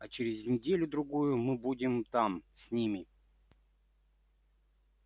а через неделю-другую мы будем там с ними